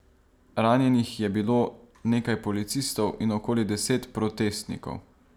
Ranjenih je bilo nekaj policistov in okoli deset protestnikov.